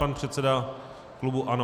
Pan předseda klubu ANO.